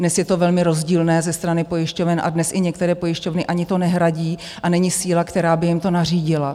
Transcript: Dnes je to velmi rozdílné ze strany pojišťoven a dnes i některé pojišťovny ani to nehradí a není síla, která by jim to nařídila.